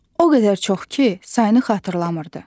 O qədər çox ki, sayını xatırlamırdı.